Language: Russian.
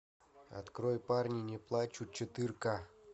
открой парни не плачут четырка